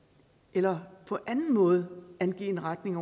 eller på anden måde angive en retning